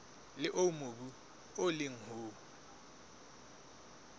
leo mobu o leng ho